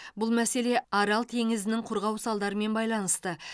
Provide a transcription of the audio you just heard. бұл мәселе арал теңізінің құрғау салдарымен байланысты